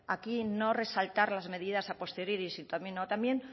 aquí no resaltar las medidas a posteriori sino también